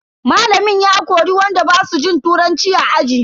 Malamin ya kori wanda basu jin turanci a aji.